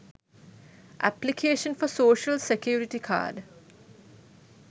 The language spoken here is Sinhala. application for social security card